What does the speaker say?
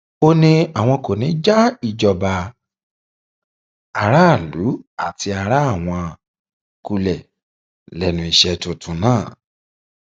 ó ní àwọn kò ní í um já ìjọba aráàlú àti ara àwọn kulẹ lẹnu iṣẹ tuntun um náà